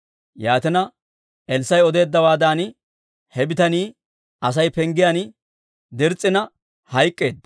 Yaatina Elssaa'i odeeddawaadan, he bitanii Asay penggiyaan dirs's'ina hayk'k'eedda.